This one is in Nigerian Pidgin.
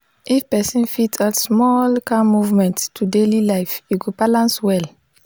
if person fit add small calm movement to daily life e go balance well.